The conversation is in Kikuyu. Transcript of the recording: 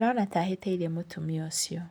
Ndirona ta hitiirie mũtumia ũcio.